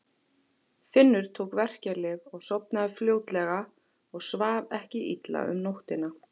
Finnur tók verkjalyf og sofnaði fljótlega og svaf ekki illa um nóttina.